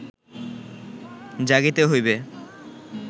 জাগিতে হইবে